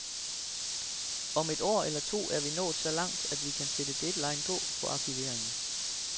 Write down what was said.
Om et år eller to er vi nået så langt, at vi kan sætte deadline på for arkiveringen.